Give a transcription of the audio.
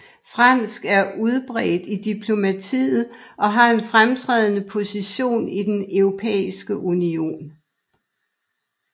Fransk er udbredt i diplomatiet og har en fremtrædende position i den Europæiske Union